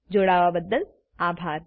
જોવા બદ્દલ આભાર